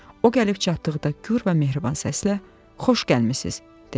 O gəlib çatdıqda gür və mehriban səslə: “Xoş gəlmisiz”, — dedi.